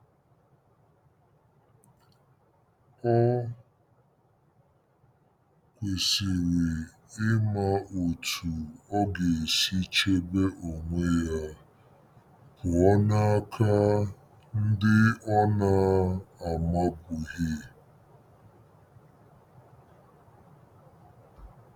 Ọ kwesịrị ịma otú ọ ga-esi chebe onwe ya pụọ n'aka ndị ọ na-amabughị. ”